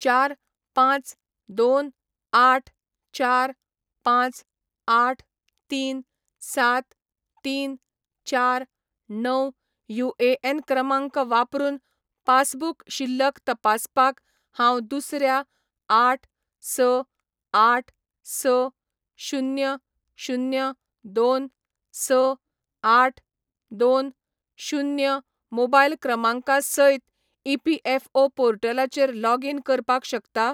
चार, पांच, दोन, आठ, चार, पांच, आठ, तीन, सात, तीन, चार, णव युएएन क्रमांक वापरून पासबुक शिल्लक तपासपाक हांव दुसऱ्या आठ, स, आठ, स, शुन्य, शुन्य, दोन, स, आठ, दोन, शुन्य मोबायल क्रमांका सयत ईपीएफओ पोर्टलाचेर लॉगीन करपाक शकता ?